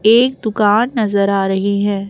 एक दुकान नजर आ रही है।